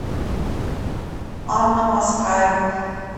анна москаева